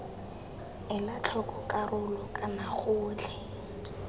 ela tlhoko karolo kana gotlhe